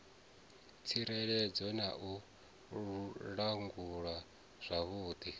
tsireledzeaho na u langulwa zwavhudi